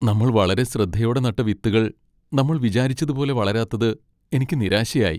നമ്മൾ വളരെ ശ്രദ്ധയോടെ നട്ട വിത്തുകൾ നമ്മൾ വിചാരിച്ചതുപോലെ വളരാത്തത് എനിക്ക് നിരാശയായി.